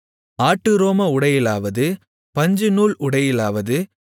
ஆட்டுரோம உடையிலாவது பஞ்சுநூல் உடையிலாவது